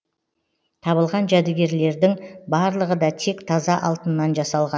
табылған жәдігерлердің барлығы да тек таза алтыннан жасалған